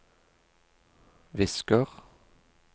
visker